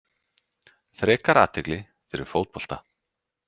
Frekar athygli fyrir fótbolta